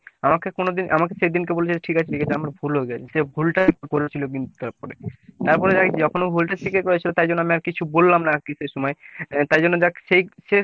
আমাকে কোনোদিন আমাকে সেইদিন কে বলছে ঠিক আছে ঠিক আছে আমার ভুল হয়ে গেছে। সে ভুলটাই করেছিল কিন্তু তারপরে তারপরে আরকি যখন ও ভুলটা স্বীকার করেছিল তাই জন্য আমি আর কিছু বললাম না কিসের সময়। তাই জন্য দেখ সেই সে